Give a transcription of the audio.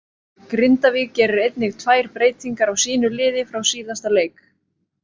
Grindavík gerir einnig tvær breytingar á sínu liði frá síðasta leik.